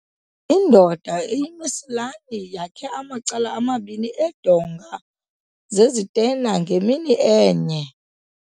Indoda eyimesilani yakhe amacala amabini eendonga zezitena ngemini enye.